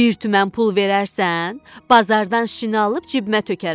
Bir tümən pul verərsən, bazardan şin alıb cibimə tökərəm.